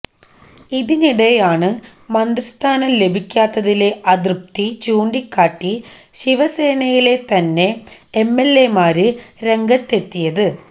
ഇതിനിടെയാണ് മന്ത്രിസ്ഥാനം ലഭിക്കാത്തതിലെ അതൃപ്തി ചൂണ്ടിക്കാട്ടി ശിവസേനയിലെ തന്നെ എംഎല്എമാര് രംഗത്തെത്തിയത്